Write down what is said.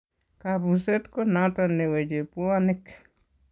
Kabuseet ko noton neweche bwonik